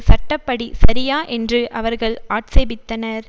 சட்ட படி சரியா என்று அவர்கள் ஆட்சேபித்தனர்